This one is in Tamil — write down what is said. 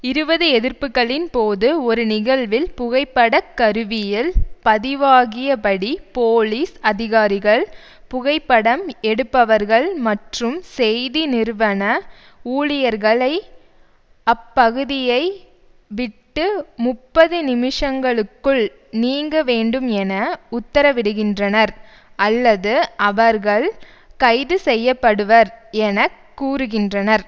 இருபது எதிர்ப்புக்களின் போது ஒரு நிகழ்வில் புகைப்படக் கருவியில் பதிவாகியபடி போலீஸ் அதிகாரிகள் புகைப்படம் எடுப்பவர்கள் மற்றும் செய்தி நிறுவன ஊழியர்களை அப்பகுதியை விட்டு முப்பது நிமிஷங்களுக்குள் நீங்க வேண்டும் என உத்தரவிடுகின்றனர் அல்லது அவர்கள் கைது செய்ய படுவர் என கூறுகின்றனர்